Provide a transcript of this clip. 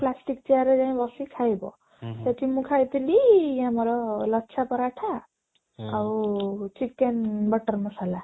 plastic chair ରେ ଯାଇ ବସି ଖାଇବା ସେଠି ମୁଁ ଖାଇଥିଲି ଆମର ଲଚ୍ଛା ପରାଠା ଆଉ chicken ମଟର ମସଲା